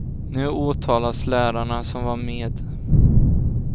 Nu åtalas lärarna som var med.